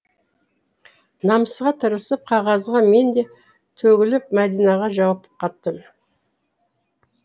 намысқа тырысып қағазға мен де төгіліп мәдинаға жауап қаттым